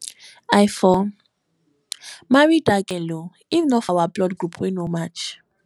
i for marry dat girl oo if not for our blood group wey no match